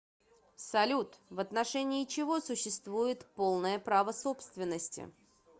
салют в отношении чего существует полное право собственности